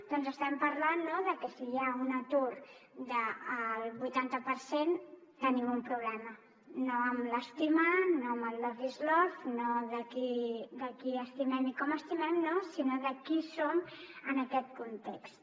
doncs estem parlant de que si hi ha un atur del vuitanta per cent tenim un problema no amb l’estimar no amb el love is love no de qui estimem i com estimem no sinó de qui som en aquest context